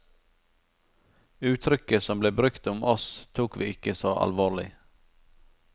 Uttrykket som ble brukt om oss tok vi ikke så alvorlig.